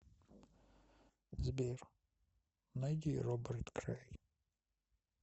сбер найди роберт крэй